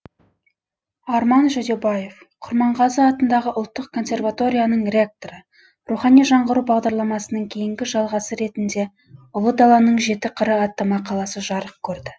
арман жүдебаев құрманғазы атындағы ұлттық консерваторияның ректоры рухани жаңғыру бағдарламасының кейінгі жалғасы ретінде ұлы даланың жеті қыры атты мақаласы жарық көрді